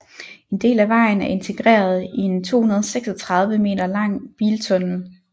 En del af vejen er integreret i en 236 meter lang biltunnel